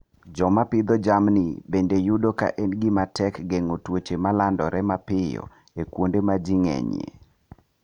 Joma pidho jamni bende yudo ka en gima tek geng'o tuoche ma landore mapiyo e kuonde ma ji ng'enyie.